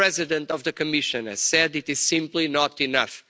As the President of the Commission has said, it is simply not enough.